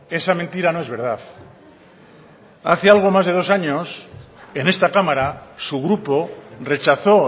esa mentira no es verdad hace algo más de dos años en esta cámara su grupo rechazo